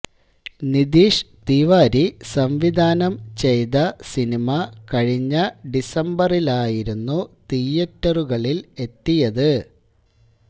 നിധീഷ് തീവരി സംവിധാനം ചെയ്ത സിനിമ കഴിഞ്ഞ ഡിസംബറിലായിരുന്നു തിയറ്ററുകളില് എത്തിയത്